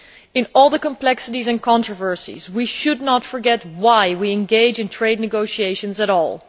In all the complexities and controversies, we should not forget why we engage in trade negotiations at all.